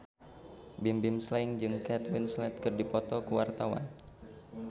Bimbim Slank jeung Kate Winslet keur dipoto ku wartawan